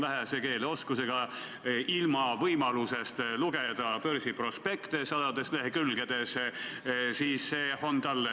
Kahetsusega pean ütlema, et selle eelnõu raames seda üldse ei arutatud, ja seetõttu ei ole mul siin midagi vastata.